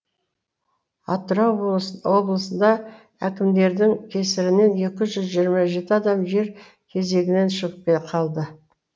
атырау облысында әкімдердің кесірінен екі жүз жиырма жеті адам жер кезегінен шығып қалды